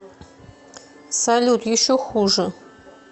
салют еще хуже